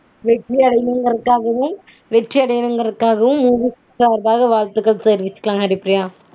வெற்றியடைந்தங்கிறதுக்கும் வெற்றியடையவும movies க்காஹ வாழ்த்துக்க்ள் சொல்லிக்குளாம் ஹரிப்ரியா